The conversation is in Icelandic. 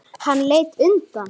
Við heitar laugar